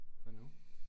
Hvad nu?